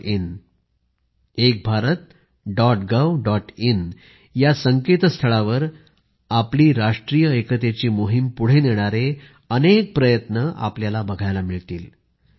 in एक Bharat dot gov dot in ह्या संस्थळावर आपली राष्ट्रीय एकतेची मोहिम पुढे नेणारे अनेक प्रयत्न आपल्याला बघायला मिळतील